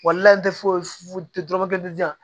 foyi foyi tɛ dɔrɔmɛ kelen di yan